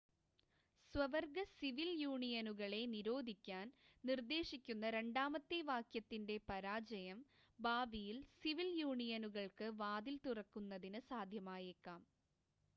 സ്വവർഗ സിവിൽ യൂണിയനുകളെ നിരോധിക്കാൻ നിർദ്ദേശിക്കുന്ന രണ്ടാമത്തെ വാക്യത്തിൻ്റെ പരാജയം ഭാവിയിൽ സിവിൽ യൂണിയനുകൾക്ക് വാതിൽ തുറക്കുന്നതിന് സാധ്യമായേക്കാം